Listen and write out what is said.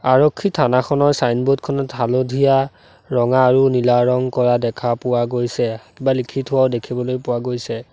আৰক্ষী থানাখনৰ ছাইনবোৰ্ড খনত হালধীয়া ৰঙা আৰু নীলা ৰং কৰা দেখা পোৱা গৈছে কিবা লিখি থোৱাও দেখিবলৈ পোৱা গৈছে।